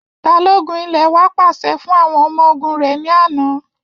Balogun ilẹ̀ wa pàṣẹ fún àwọn ọmọ ogun rẹ̀ ní àná